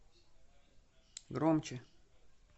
громче